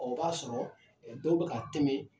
O b'a sɔrɔ dɔw bɛ ka tɛmɛ